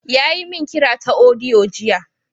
Ya yi min kira ta audio jiya.